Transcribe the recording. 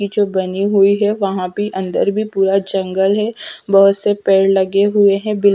ये जो बनी हुई हैं वहां भी अंदर भी पूरा जंगल हैं बहोत से पेड़ लगे हुए हैं बिल--